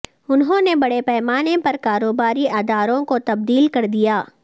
انہوں نے بڑے پیمانے پر کاروباری اداروں کو تبدیل کر دیا